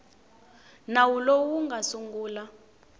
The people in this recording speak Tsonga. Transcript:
nawu lowu wu nga sungula